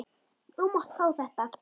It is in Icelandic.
Þú mátt fá þetta.